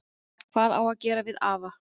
Hvað á að gera við afa?